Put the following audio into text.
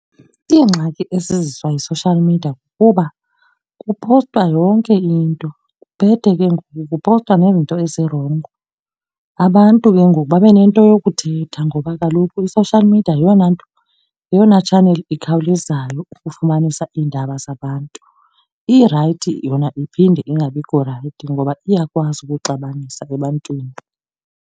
Iingxaki eziziswa yi-social media kukuba kuphostwa yonke into kuphethe ke ngoku kuphostwa nezinto ezirongo. Abantu ke ngoku babe nento yokuthetha ngoba kaloku i-social media yeyona nto, yeyona tshaneli ikhawulezayo ukufumanisa iindaba zabantu. Irayithi yona iphinde ingabikho rayithi, ngoba iyakwazi ukuxabanisa apha ebantwini.